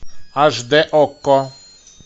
аш дэ окко